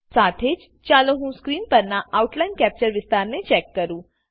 સાથે જ ચાલો હું સ્ક્રીન પરના આઉટલાઈન કેપ્ચર વિસ્તાને ચેક કરું